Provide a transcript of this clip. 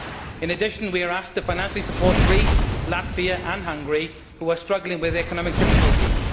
In addition, we are asked to financially support Greece, Latvia and Hungary, which are struggling with economic difficulties.